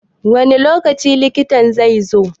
Wani lokaci likitan zai zo?